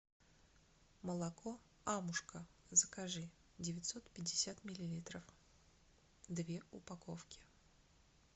молоко амушка закажи девятьсот пятьдесят миллилитров две упаковки